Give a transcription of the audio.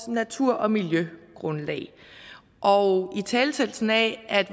natur og miljøgrundlag og italesættelsen af